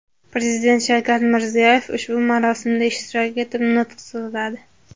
Prezident Shavkat Mirziyoyev ushbu marosimda ishtirok etib nutq so‘zladi.